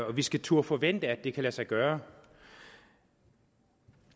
at vi skal turde forvente at det kan lade sig gøre